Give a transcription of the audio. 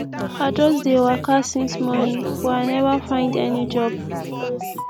i just dey waka since morning but i never find any job